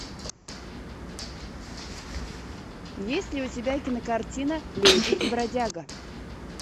есть ли у тебя кинокартина леди и бродяга